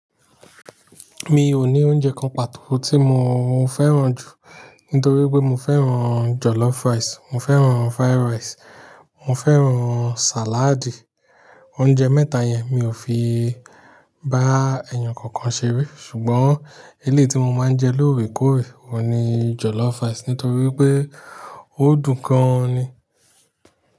Mi ò ní oúnjẹ kan pàtó tí mo fẹ́ràn jù, nítorí pé mo fẹ́ràn jollof rice, mo fẹ́ràn fried rice, mo fẹ́ràn salad. Oúnjẹ mẹ́ta yẹn mi ò fi bá ẹ̀yàn kankan ṣeré. Ṣùgbọ́n eleyi tí mo máa ń jẹ lóòrèkóòrè ọ́un ni jollof rice, nítorí wipé ó dùn gan ni.